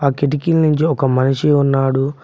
కిటికీలు నుంచి ఒక మనిషి ఉన్నాడు.